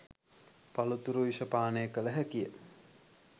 පලතුරු යුෂ පානය කළ හැකිය.